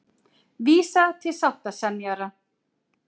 Vísa til sáttasemjara